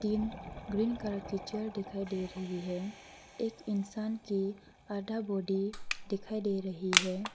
इन green colour कि chair दिखाई दे रही है एक इंसान की आधा बॉडी दिखाई दे रही है।